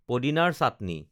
পদিনাৰ চাটনি